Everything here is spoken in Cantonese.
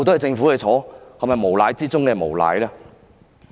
這難道不是無賴之中的無賴嗎？